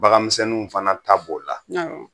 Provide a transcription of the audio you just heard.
Baganmisɛnninw fana ta b'o la